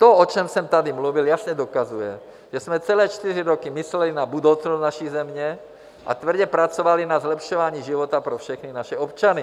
To, o čem jsem tady mluvil, jasně dokazuje, že jsme celé čtyři roky mysleli na budoucnost naší země, a tvrdě pracovali na zlepšování života pro všechny naše občany.